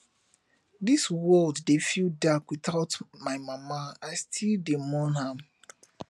dis world dey feel dark witout my mama i still dey mourn am